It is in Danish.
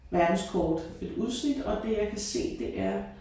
Verdenskort et udsnit og det jeg kan se det er